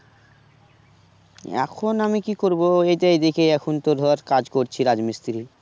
এখন আমি কি করব এই তো এই দিকে এখন তোর ধর কাজ করছি রাজ্মিস্তিরি